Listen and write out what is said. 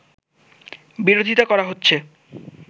বিরোধিতা করা হচ্ছে